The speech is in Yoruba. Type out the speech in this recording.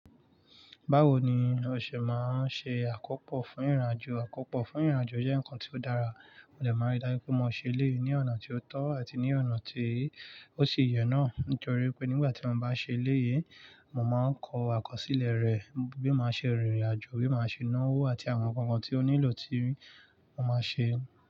Báwo ni ọṣẹ máa ń ṣe àkópò fún ìrìnàjò? Àkópò fún ìrìnàjò jẹ́ ǹkan tí ó dára, mo dẹ̀ máa rí dájú pé mo ṣe léè ní ọ̀nà tí ó tọ́ àti ní ọ̀nà tí ó ṣe yẹ náà. Nítorí pé nígbà tí mo bá ṣe eléyi, mo mán kọ àkọsílẹ̀ rẹ̀, bí ma ṣe rìn ìrìnàjò, bí ma ṣe ná owó àti àwọn ǹkan kan tí ó nílò tí mo máa ṣe.